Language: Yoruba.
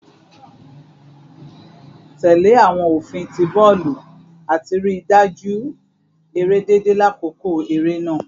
Tẹle awọn ofin ti bọọlu ati rii daju ere deede lakoko ere naa